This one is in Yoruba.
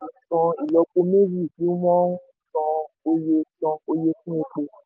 san ìlọ́po méjì bí wón ń san oye san oye fún epo